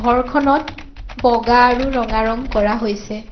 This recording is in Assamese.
ঘৰখনত বগা আৰু ৰঙা ৰং কৰা হৈছে।